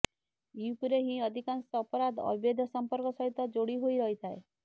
ୟୁପିରେ ହିଁ ଅଧିକାଂଶ ଅପରାଧ ଅବୈଧ ସମ୍ପର୍କ ସହିତ ଯୋଡ଼ି ହୋଇ ରହିଥାଏ